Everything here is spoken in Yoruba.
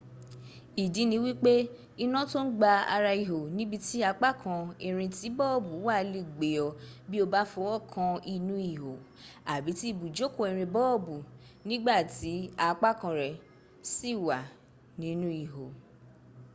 ìdí ni wípé iná tó ń gba ara ihò níbi tí apákan irin tí bọ́ọ̀bù wà le gbé ọ bí o bá fọwọ́ kan inú ihò àbí ti ibùjókòó irin bọ́ọ̀bù nígbàtí apákan rẹ̀ sì wà nínú ihò